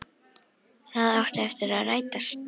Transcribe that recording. Það átti eftir að rætast.